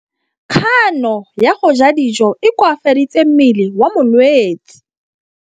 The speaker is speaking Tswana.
Kganô ya go ja dijo e koafaditse mmele wa molwetse.